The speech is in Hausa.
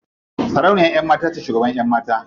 Sarauniyan ƴan mata ce shugaban ƴan mata.